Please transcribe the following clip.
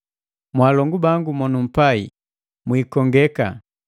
Mwaalongu bangu monumpai, mwiikongeka!